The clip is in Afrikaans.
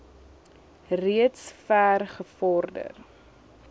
reeds ver gevorder